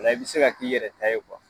0 la i bɛ se ka k'i yɛrɛ ta ye